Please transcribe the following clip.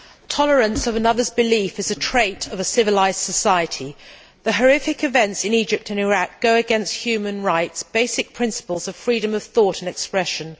Mr President, tolerance of another's belief is a trait of a civilised society. The horrific events in Egypt and Iraq go against human rights and basic principles of freedom of thought and expression.